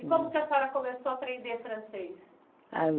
E como é que a senhora começou a aprender francês?